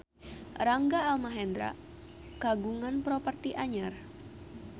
Rangga Almahendra kagungan properti anyar